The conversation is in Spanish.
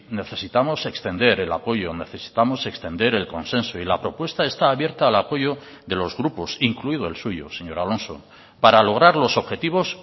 necesitamos extender el apoyo necesitamos extender el consenso y la propuesta está abierta al apoyo de los grupos incluido el suyo señor alonso para lograr los objetivos